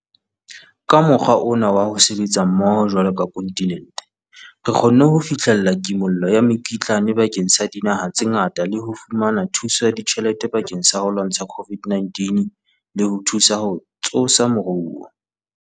Ka mokgwa ona wa ho sebetsa mmoho jwalo ka kontinente, re kgonne ho fihlella kimollo ya mekitlane bakeng sa dinaha tse ngata le ho fumana thuso ya tjhelete bakeng sa ho lwantsha COVID-19 le ho thusa ho tsosa moruo.